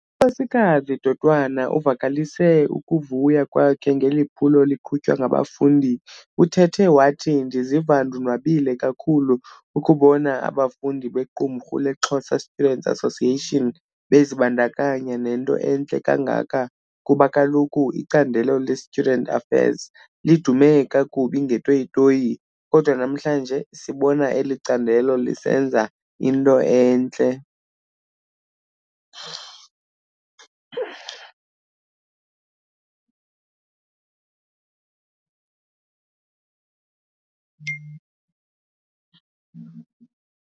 U Nkosikazi Dotwana uvakalise ukuvuya kwakhe ngeliphulo liqhutywa ngabafundi uthethe wathi "Ndiziva ndonwabile kakhulu ukubona abafundi be Qumrhu le Xhosa students Association bezibandakanya nento entle kangaka kuba kaloku icandelo le Student Affairs lidume kakubi ngeeToyitoyi, kodwa namhlanje sibona elicandelo lisenza into entle'.